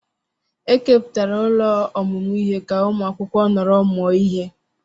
Ekepụtara ụlọ ọmụmụ ihe ka ụmụ akwụkwọ nọrọ mụọ ihe.